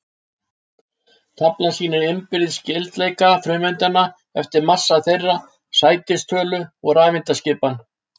Taflan sýnir innbyrðis skyldleika frumeindanna eftir massa þeirra, sætistölu og rafeindaskipan.